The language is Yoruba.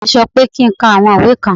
Ore mí sọ pé kí ń ká àwọn ìwé kan.